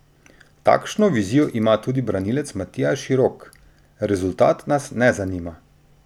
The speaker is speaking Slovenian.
Takšno vizijo ima tudi branilec Matija Širok: "Rezultat nas ne zanima.